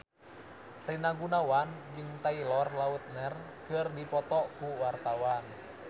Rina Gunawan jeung Taylor Lautner keur dipoto ku wartawan